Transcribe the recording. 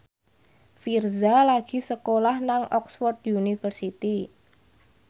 Virzha lagi sekolah nang Oxford university